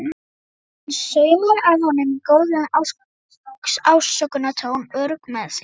Hún saumar að honum í góðlegum ásökunartón, örugg með sig.